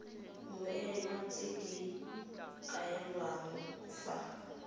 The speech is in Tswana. mmoelwa tse di kailweng fa